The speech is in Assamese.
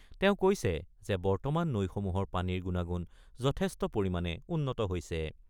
তেওঁ কৈছে যে বৰ্তমান নৈসমূহৰ পানীৰ গুণাগুণ যথেষ্ট পৰিমাণে উন্নত হৈছে।